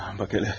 Bax elə.